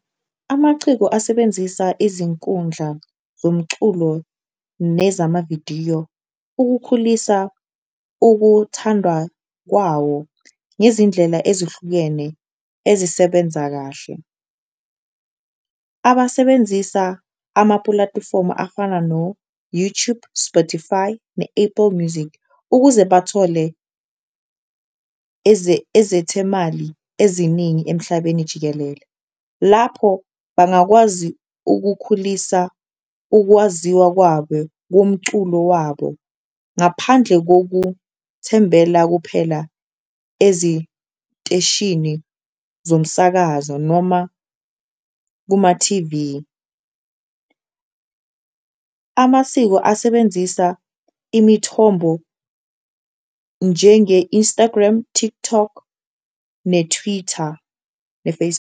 Amaciko asebenzisa izinkundla zomculo nezamavidiyo ukukhulisa ukuthandwa kwawo ngezindlela ezihlukene ezisebenza kahle, abasebenzisa amapulatifomu afana no-YouTube, Spotify ne-Apple Music ukuze bathole ezethemali eziningi emhlabeni jikelele. Lapho bangakwazi ukukhulisa ukwaziwa komculo wabo, ngaphandle kokuthembela kuphela eziteshini zomsakazo noma kuma-T_V, amasiko asebenzisa imithombo njenge-Instagram, TikTok ne-Twitter, .